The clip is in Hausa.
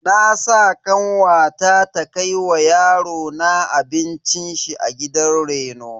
Na sa kanwata ta kai wa yarona abincin shi a gidan reno.